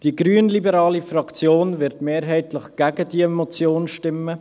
Die grünliberale Fraktion wird mehrheitlich gegen diese Motion stimmen.